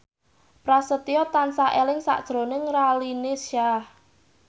Prasetyo tansah eling sakjroning Raline Shah